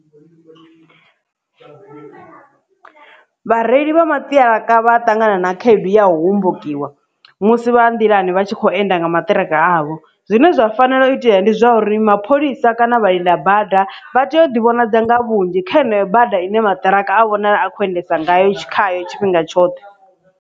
Vhareili vha maṱiraka vha ṱangana na khaedu ya U hombokiwa musi vha nḓilani vha tshi khou enda nga maṱiraka avho, zwine zwa fanela u itea ndi zwauri mapholisa kana vhalinda bada vha tea u ḓivhonadza nga vhunzhi kha heneyo bada ine maṱiraka a vhonala a kho endedza ngayo khayo tshifhinga tshoṱhe.